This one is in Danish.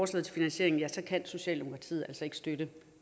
til finansiering kan kan socialdemokratiet altså ikke støtte